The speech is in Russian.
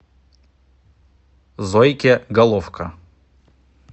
зойке головко